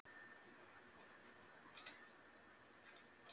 Heimir Már Pétursson: Hvert er tilefni fundarins?